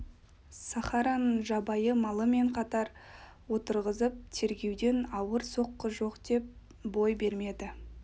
сахараның жабайы малы мен қатар отырғызып тергеуден ауыр соққы жоқ деп бой бермеді